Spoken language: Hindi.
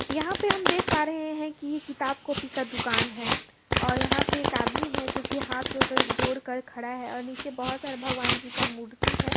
यहाँ पे हम देख पा रहे है की ये किताब कॉपी का दुकान है और यहाँ पे एक आदमी है जो की हाथ जोकर जोड़कर खड़ा है और नीचे बहुत सारा भगवान जी का मूर्ति है।